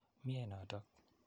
Mye notok.